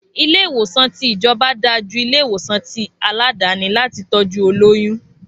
Ilé ìwòsàn ti ìjọba dà jú ilé ìwòsàn ti àládàni láti tọ́jú olóyún